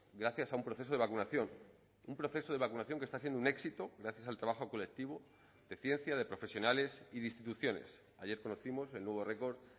gracias a un proceso de vacunación un proceso de vacunación que está siendo un éxito gracias al trabajo colectivo de ciencia de profesionales y de instituciones ayer conocimos el nuevo record